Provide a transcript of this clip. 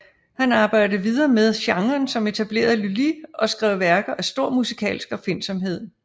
Han arbejdede videre med genren som etableret af Lully og skrev værker af stor musikalsk opfindsomhed